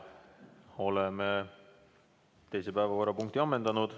Oleme teise päevakorrapunkti ammendanud.